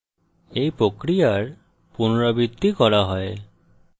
এই প্রক্রিয়ার পুনরাবৃত্তি করা হয়